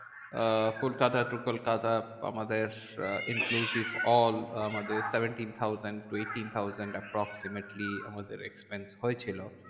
আহ Kolkata to Kolkata আমাদের uh inclusive all আমাদের seventeen thousand to eighteen thousand approximately আমাদের expense হয়েছিল।